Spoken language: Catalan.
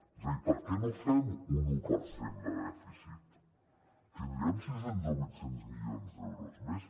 és a dir per què no fem un un per cent de dèficit tindríem sis cents o vuit cents milions d’euros més